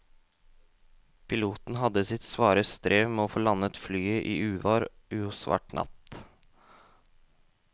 Piloten hadde sitt svare strev med å få landet flyet i uvær og svart natt.